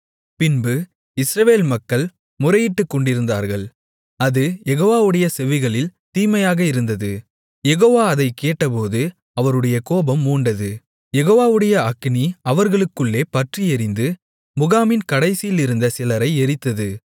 பின்பு இஸ்ரவேல் மக்கள் முறையிட்டுக்கொண்டிருந்தார்கள் அது யெகோவாவுடைய செவிகளில் தீமையாக இருந்தது யெகோவா அதைக் கேட்டபோது அவருடைய கோபம் மூண்டது யெகோவாவுடைய அக்கினி அவர்களுக்குள்ளே பற்றியெரிந்து முகாமின் கடைசியிலிருந்த சிலரை எரித்தது